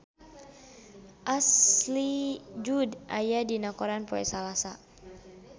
Ashley Judd aya dina koran poe Salasa